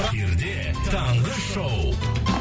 эфирде таңғы шоу